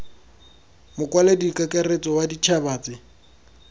mokwaledi kakaretso wa ditšhaba tse